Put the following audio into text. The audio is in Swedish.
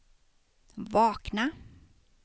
vakna